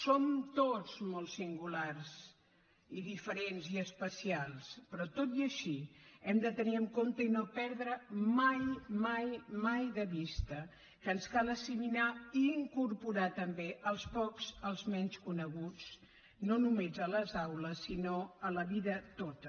som tots molt singulars i diferents i especials però tot i així hem de tenir en compte i no perdre mai mai mai de vista que ens cal assimilar i incorporar també els pocs els menys coneguts no només a les aules sinó a la vida tota